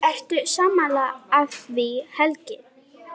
Ertu sammála því Helgi?